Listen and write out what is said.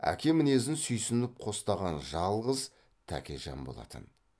әке мінезін сүйсініп қостаған жалғыз тәкежан болатын